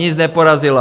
Nic neporazila!